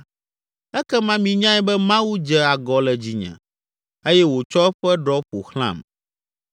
ekema minyae be Mawu dze agɔ le dzinye eye wòtsɔ eƒe ɖɔ ƒo xlãm.